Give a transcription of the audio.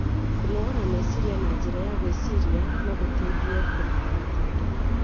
Kũnogora meciria na njĩra ya gwĩciria no gũteithie kũniina mĩtangĩko